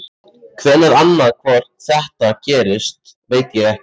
Hvenær annað hvort þetta gerist veit ég ekki.